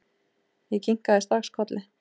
Ég kinkaði strax kolli.